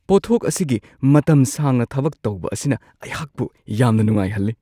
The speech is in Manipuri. ꯄꯣꯠꯊꯣꯛ ꯑꯁꯤꯒꯤ ꯃꯇꯝ ꯁꯥꯡꯅ ꯊꯕꯛ ꯇꯧꯕ ꯑꯁꯤꯅ ꯑꯩꯍꯥꯛꯄꯨ ꯌꯥꯝꯅ ꯅꯨꯡꯉꯥꯏꯍꯜꯂꯤ꯫​